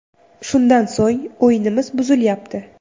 Shundan so‘ng o‘yinimiz buzilyapti.